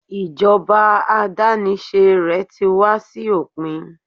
ijoba adanise rẹ ti wá sí òpin